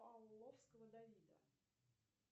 павловского давида